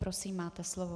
Prosím, máte slovo.